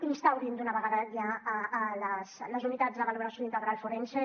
instaurin d’una vegada ja les unitats de valoració integral forense